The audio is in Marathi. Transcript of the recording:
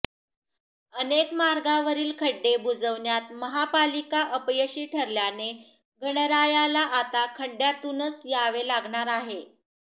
अनेक मार्गावरील खड्डे बुजवण्यात महापालिका अपयशी ठरल्याने गणरायाला आता खड्डयांतूनच यावे लागणार आहे